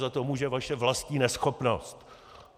Za to může vaše vlastní neschopnost.